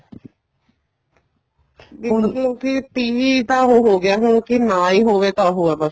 ਦੇਖਲੋ ਵੀ TV ਤਾਂ ਹੁਣ ਉਹ ਹੋਗਿਆ ਹੁਣ ਕੇ ਨਾ ਹੀ ਹੋਵੇ ਤਾਂ ਉਹ ਹੈ ਬੱਸ